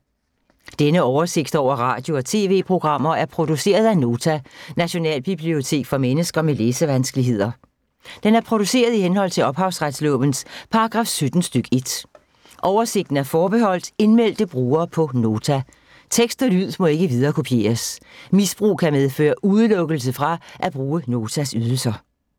Denne oversigt over radio og TV-programmer er produceret af Nota, Nationalbibliotek for mennesker med læsevanskeligheder. Den er produceret i henhold til ophavsretslovens paragraf 17 stk. 1. Oversigten er forbeholdt indmeldte brugere på Nota. Tekst og lyd må ikke viderekopieres. Misbrug kan medføre udelukkelse fra at bruge Notas ydelser.